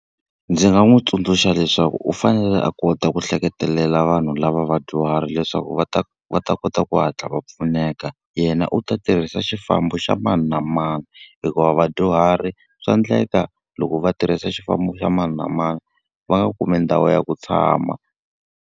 Ndzi nga n'wi tsundzuxa leswaku u fanele a kota ku hleketelela vanhu lava vadyuhari leswaku va ta va ta kota ku hatla va pfuneka, yena u ta tirhisa xifambo xa mani na mani. Hikuva vadyuhari swa endleka loko va tirhisa xifambo xa mani na mani, va nga kumi ndhawu ya ku tshama.